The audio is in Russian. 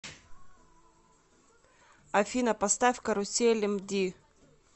афина поставь карусель эмди